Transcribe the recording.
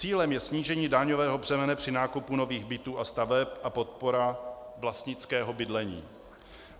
Cílem je snížení daňového břemene při nákupu nových bytů a staveb a podpora vlastnického bydlení.